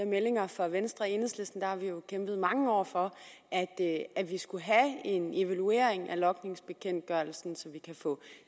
meldinger fra venstre i enhedslisten har vi jo kæmpet mange år for at at vi skulle have en evaluering af logningsbekendtgørelsen så vi kan få